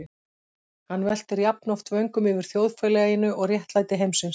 Hann veltir jafnoft vöngum yfir þjóðfélaginu og réttlæti heimsins.